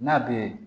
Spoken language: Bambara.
N'a bɛ